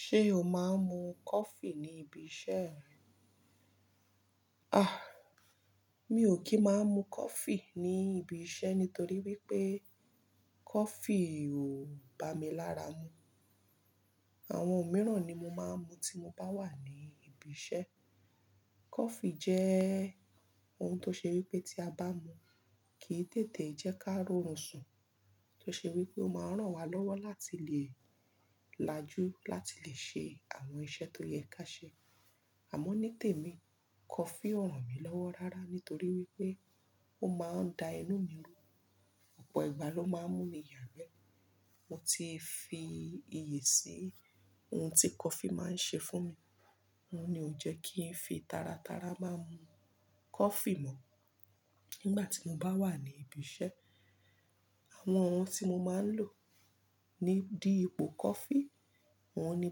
Ṣé o máa ń mu coffee ní ibi iṣẹ́ rẹ? Mi ò kí má mu coffee ní ibi iṣẹ́ nítorí wípé coffee ò bá mi lára mu. Àwọn mìíràn ni mo máa ń mu tí mo bá wà ní ibi iṣẹ́. Coffee jẹ́ ohun tó ṣe wípé tí a bá mu, kì í tètè jẹ́ kí a rọrùn sùn. Tó ṣe wípé ó máa ń ràn wá lọ́wọ́ láti lè lajú, láti lè ṣe àwọn iṣẹ́ tó yẹ ká ṣe. Àmọ́ ní tèmi, coffee ò ràn mí lọ́wọ́ rárá nítorí wípé ó máa ń da inú mi rú. Ọ̀pọ̀ ìgbà ló máa ń mú mi yagbẹ́. Mo ti fi iyì sí ohun tí coffee máa ń ṣe fún mi. Ó ní ó jẹ́ kí n fi taratara máa mu coffee mọ́ nígbà tí mo bá wà ní ibi iṣẹ́. Àwọn ohun tí mo máa ń lò ní di ipò coffee, oun ni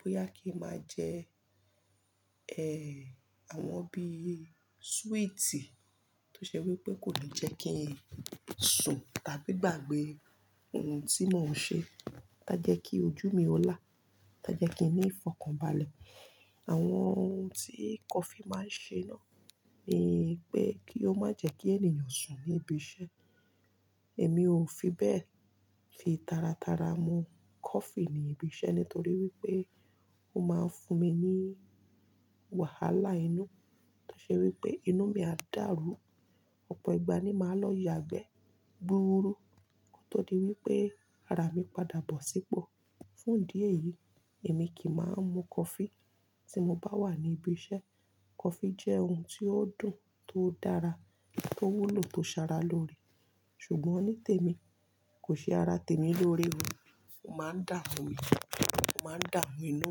bóyá kí n máa jẹ́, ẹ́, àwọn bí sweeti tó ṣe wípé kò ní jẹ́ kí n sùn tàbí gbàgbé ohun tí mò ń ṣe ta jẹ́ kí ojú mi ó là, ta jẹ́ kí n ní ìfọ̀kànbalẹ̀. Àwọn ohun tí coffee máa ń ṣe náà ni pé kí ó má jẹ́ kí ènìyàn sùn ní ibi iṣẹ́. Èmi ò fi bẹ́ẹ̀ fi taratara mu coffee ní ibi iṣẹ́ nítorí wípé ó máa ń fún mi ní wàhálà inú. Tó ṣe wípé inú mi á dàrú. Ọ̀pọ̀ ìgbà ni màá lọ yagbẹ́, gbuuru ko tó di wípé ara mi padà bọ̀ sípọ̀. Fún idi eyì, èmi ki máa ń mu coffee tí mo bá wà ní ibi iṣẹ́. Coffee jẹ́ ohun tí ó dùn, tó dára, tó wúlò, tó sara lóre. Ṣùgbọ́n ní tèmi, kò ṣe ara tèmi lóre o. Ó máa ń dàmu mi, ó máa ń dàmu inú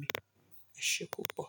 mi. Esé púpọ̀.